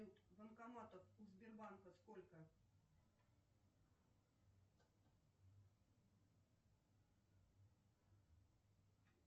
банкоматов у сбербанка сколько